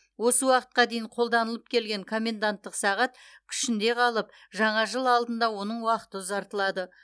осы уақытқа дейін қолданылып келген коменданттық сағат күшінде қалып жаңа жыл алдында оның уақыты ұзартылады